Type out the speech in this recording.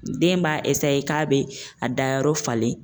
Den b'a k'a bɛ a dayɔrɔ falen.